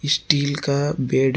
steel का bed --